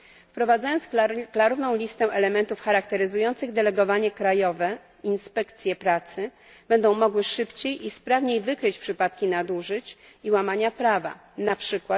Wprowadzając klarowną listę elementów charakteryzujących delegowanie krajowe, inspekcje pracy będą mogły szybciej i sprawniej wykryć przypadki nadużyć i łamania prawa, np.